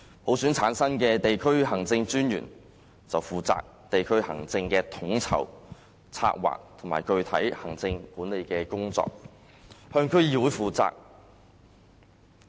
普選產生的區政專員則負責地區行政的統籌、策劃及具體行政管理工作，向區議會負責。